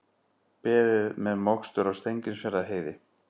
Beðið með mokstur á Steingrímsfjarðarheiði